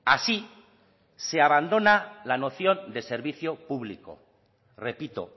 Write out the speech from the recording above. así se abandona la noción de servicio público repito